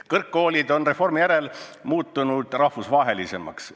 Kõrgkoolid on reformi järel muutunud rahvusvahelisemaks.